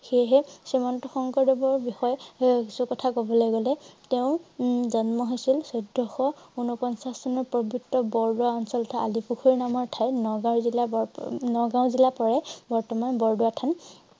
সেইহে শ্ৰীমন্ত শংকৰদেৱৰ বিষয়ে কিছু কথা কবলৈ গলে তেওঁৰ উম জন্ম হৈছিল চৈধ্যশ উনপঞ্চাছ চনত বৰবৰা অঞ্চলৰ আলি পুখুৰী নামৰ ঠাই, নগাঁও জিলাৰ বৰ~নগাঁও জিলা পৰে । বৰ্তমান বৰদোৱা থান